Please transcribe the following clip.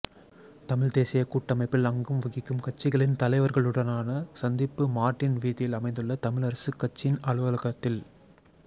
தமிழ்த் தேசியக் கூட்டமைப்பில் அங்கம் வகிக்கும் கட்சிகளின் தலைவர்களுடனான சந்திப்பு மார்ட்டின் வீதியில் அமைந்துள்ள தமிழரசுக் கட்சியின் அலுவலகத்தில்